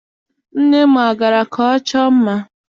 Nne m agara ka ọ chọọ mma?